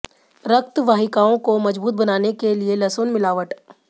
रक्त वाहिकाओं को मजबूत बनाने के लिए लहसुन मिलावट